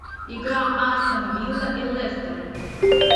игра астон вилла и лестер